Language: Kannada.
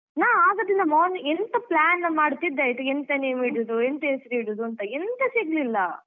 ನಾ ಆಗದಿಂದ ಎಂತ plan ಮಾಡ್ತಿದ್ದೆ ಆಯ್ತಾ ಎಂತ name ಇಡುದು ಎಂತ ಹೆಸ್ರಿಡುದುಂತ ಎಂತ ಸಿಗ್ಲಿಲ್ಲ.